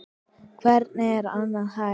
Hvernig er annað hægt?